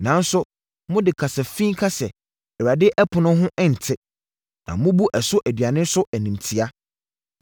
“Nanso mode kasa fi ka sɛ Awurade ɛpono ho nte. Na mobu ɛso aduane nso animtia.